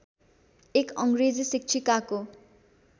एक अङ्ग्रेजी शिक्षिकाको